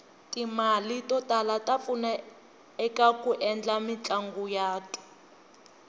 timale totala tapfuna ekaku endla mitlanguyatu